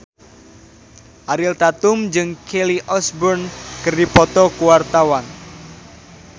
Ariel Tatum jeung Kelly Osbourne keur dipoto ku wartawan